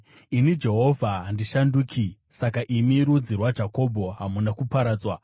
“Ini Jehovha handishanduki. Saka imi, rudzi rwaJakobho, hamuna kuparadzwa.